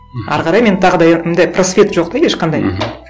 әрі қарай мен тағы просвет жоқ та ешқандай мхм